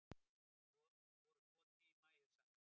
Voru tvo tíma yfir sandinn